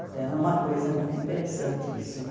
Então, é uma coisa muito interessante isso.